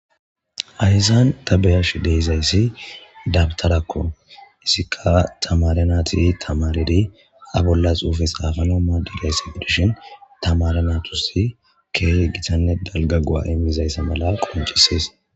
ayyzan ta beyash deezayssi dabtarakko isikka tamarenati tamareri a bollas uufe xaafanoma digayssi birshin tamarenatusi keehi gitanne dalga gu7a imizayssa mala qoncisees